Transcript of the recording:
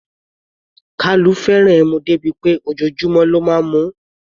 Kalu fẹ́ràn ẹmu dé bí pé ojoojúmọ́ ló máa ń mu ú.